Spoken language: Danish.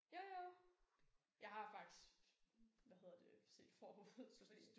Jo jo jeg har faktisk hvad hedder det set forud så